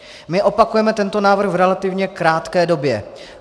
My opakujeme tento návrh v relativně krátké době.